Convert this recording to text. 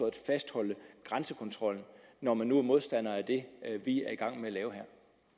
at fastholde grænsekontrollen når man nu er modstander af det vi er i gang med at lave her